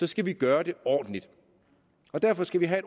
skal vi gøre det ordentligt og derfor skal vi have